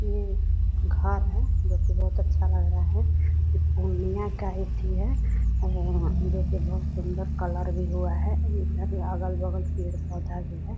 ये घर है जो की बहत अच्छा लग रहा है पूर्णिया का एथी है उम जो की बहुत सुंदर कलर भी हुआ है इधर अगल-बगल पेड़-पौधा भी है ।